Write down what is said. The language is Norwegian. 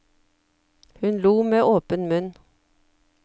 Hun lo med åpen munn.